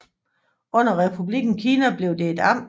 Under Republikken Kina blev det et amt